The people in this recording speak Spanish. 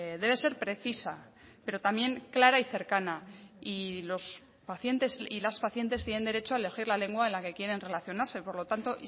debe ser precisa pero también clara y cercana y los pacientes y las pacientes tienen derecho a elegir la lengua en la que quieren relacionarse por lo tanto